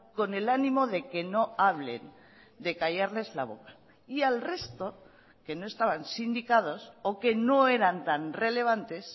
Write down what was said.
con el ánimo de que no hablen de callarles la boca y al resto que no estaban síndicados o que no eran tan relevantes